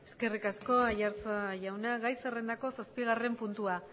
eskerrik asko aiartza jauna gai zerrendako zazpigarren puntua